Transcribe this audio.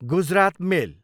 Gujarat मेल